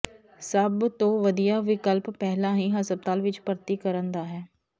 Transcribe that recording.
ਸਭ ਤੋਂ ਵਧੀਆ ਵਿਕਲਪ ਪਹਿਲਾਂ ਹੀ ਹਸਪਤਾਲ ਵਿੱਚ ਭਰਤੀ ਕਰਨ ਦਾ ਹੈ